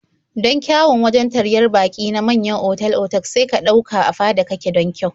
Don kyawun wajen taryar baƙi na manyan otal-otak sai ka ɗauka a fada kake don kyau.